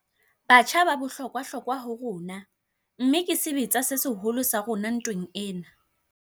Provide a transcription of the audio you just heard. Batjha ba bohlokwahlokwa ho rona, mmeke sebetsa se seholo sa rona ntweng ena.